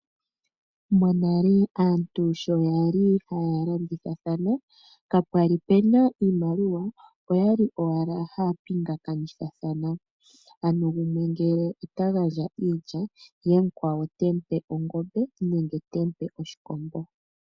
Monale aantu sho yali haya landithathana kapwali puna iimaliwa oyali owala ngele gumwe ota gandja iilya ye mukwawo te mupe ongombe nenge oshikombo.